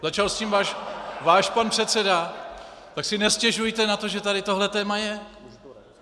Začal s tím váš pan předseda, tak si nestěžujte na to, že tady tohle téma je!